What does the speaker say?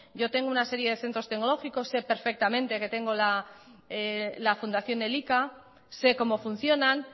yo tengo una serie de centros tecnológicos sé perfectamente que tengo la fundación elika sé como funcionan